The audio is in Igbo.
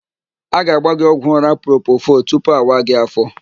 A ga-agba gị ọgwụ ụ́rá propofọl tupu awa gị áfó.